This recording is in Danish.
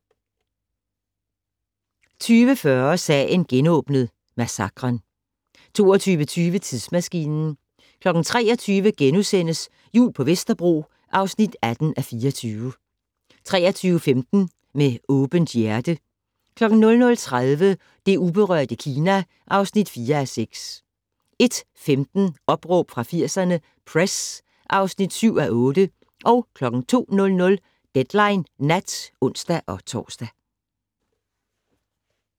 20:40: Sagen genåbnet: Massakren 22:20: Tidsmaskinen 23:00: Jul på Vesterbro (18:24)* 23:15: Med åbent hjerte 00:30: Det uberørte Kina (4:6) 01:15: Opråb fra 80'erne - Press (7:8) 02:00: Deadline Nat (ons-tor)